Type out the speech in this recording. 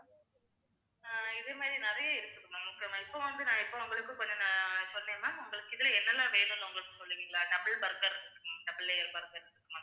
இதே மாதிரி நிறைய இருக்குது ma'am okay ma'am இப்ப வந்து நான் இப்ப உங்களுக்கு கொஞ்சம் சொன்னேன் ma'am உங்களுக்கு இதுல என்னெலாம் வேணும்னு உங்களுக்கு சொல்றீங்களா double burger இருக்கு double layer burger இருக்கு ma'am